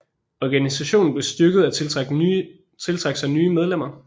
Organisationen blev styrket og tiltrak sig nye medlemmer